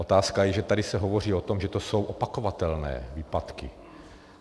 Otázka je, že tady se hovoří o tom, že to jsou opakovatelné výpadky.